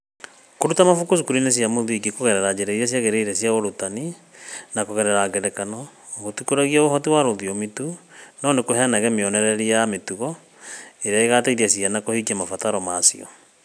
Kũruta mabuku cukuru-inĩ wa mũthingi kũgerera njĩra iria ciagĩrĩire cia ũrutani na kũgerera ngerekano kutikũragia ũhoti wa rũthiomi tu, no nĩ kũheanaga mionereria ya mĩtugo, iria igaateithia ciana kũhingia mabataro ma cio.